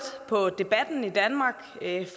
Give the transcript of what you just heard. på debatten i danmark